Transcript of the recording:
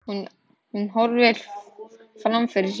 Hún horfir fram fyrir sig.